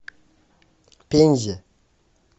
пензе